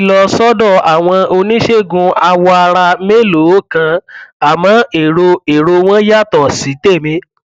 mo ti lọ sọdọ àwọn oníṣègùn awọ ara mélòó kan àmọ èrò èrò wọn yàtọ sí tèmi